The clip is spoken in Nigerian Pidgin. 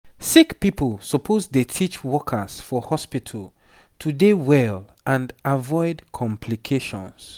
sick pipo suppose dey teach workers for hospitu to dey well and avoid complications